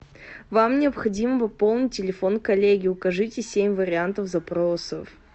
вам необходимо пополнить телефон коллеги укажите семь вариантов запросов